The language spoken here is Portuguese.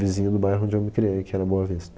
Vizinho do bairro onde eu me criei, que era Boa Vista.